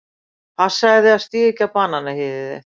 Passaðu þig að stíga ekki á bananahýðið þitt.